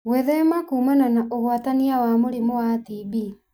Gwĩthema kũmana na ũgwatania wa mũrimũ wa TB